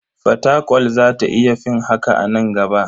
Fatakwal za ta iya fin haka a nan gaba.